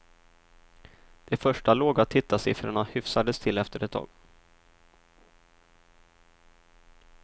De första låga tittarsiffrorna hyfsades till efter ett tag.